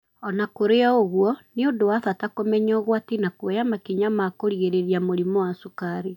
O na kũrĩ ũguo, nĩ ũndũ wa bata kũmenya ũgwati na kuoya makinya ma kũgirĩrĩria mũrimũ wa cukari.